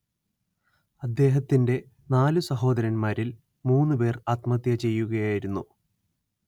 അദ്ദേഹത്തിന്റെ നാലു സഹോദരന്മാരിൽ മൂന്നുപേർ ആത്മഹത്യചെയ്യുകയായിരുന്നു